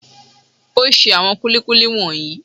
O ṣe àwọn kúlíkúlí wọ̀nyí.